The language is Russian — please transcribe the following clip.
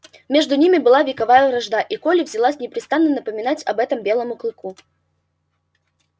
между ними была вековая вражда и колли взялась непрестанно напоминать об этом белому клыку